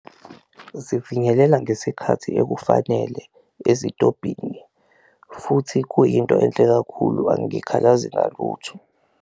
Zifinyelela ngesikhathi ekufanele ezitobhini futhi kuyinto enhle kakhulu angikhalazi ngalutho.